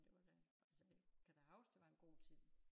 Det var da altså det kan da huske det var en god tid